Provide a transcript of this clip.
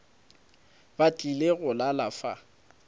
ba tlile go lala fa